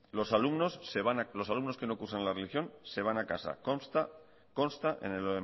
los alumnos que no cursan la religión se van a casa consta en el